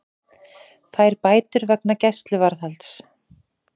Fær bætur vegna gæsluvarðhalds